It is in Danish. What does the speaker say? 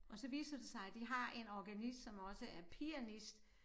Og så viste det sig at de har en organist som også er pianist